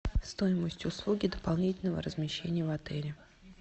стоимость услуги дополнительного размещения в отеле